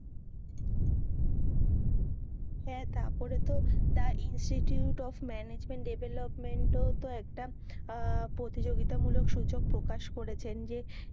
হ্যাঁ তারপরে তো দ্যা ইনস্টিটিউট ওফঃ ম্যানেজমেন্ট ডেভলপমেন্টও তো একটা প্রতিযোগিতা মূলক সূচক প্রকাশ করেছেন যে,